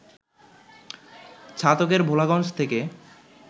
ছাতকের ভোলাগঞ্জ থেকে